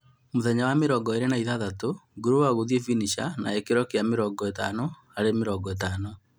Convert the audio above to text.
Mũthenya wa mĩrongo ĩlĩ na ithathatũ, grower gũthie finisher na gĩkĩro kĩa 50:50